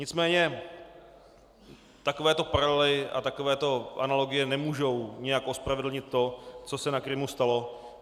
Nicméně takovéto paralely a takovéto analogie nemůžou nijak ospravedlnit to, co se na Krymu stalo.